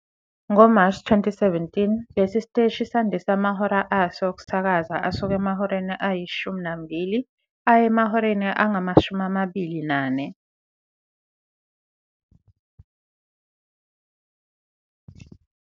NgoMashi 2017, lesi siteshi sandise amahora aso okusakaza asuka emahoreni ayi-12 aya emahoreni angama-24.